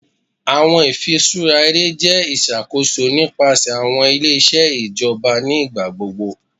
Awọn ifiṣura ere jẹ iṣakoso nipasẹ awọn ile-iṣẹ ijọba ni igbagbogbo